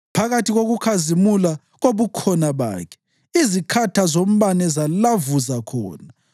Phakathi kokukhazimula kobukhona bakhe, izikhatha zombane zalavuza khona.